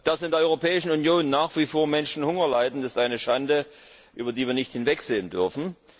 Dass in der Europäischen Union nach wie vor Menschen Hunger leiden ist eine Schande, über die wir nicht hinwegsehen dürfen.